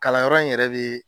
Kalanyɔrɔ in yɛrɛ be